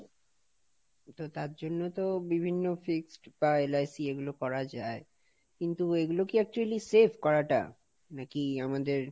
তো তার জন্য তো বিভিন্ন fixed বা LIC এগুলো করা যাই কিন্তু এগুলো কি actually safe করাটা? নাকি আমাদের,